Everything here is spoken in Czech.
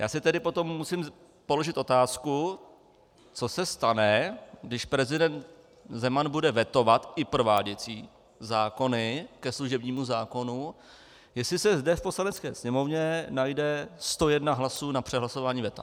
Já si tedy potom musím položit otázku, co se stane, když prezident Zeman bude vetovat i prováděcí zákony ke služebnímu zákonu, jestli se zde v Poslanecké sněmovně najde 101 hlasů na přehlasování veta.